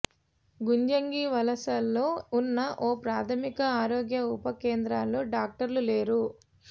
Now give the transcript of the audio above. గుజ్జంగివలసలో ఉన్న ఒక ప్రాథమిక ఆరోగ్య ఉప కేంద్రంలో డాక్టర్లు లేరు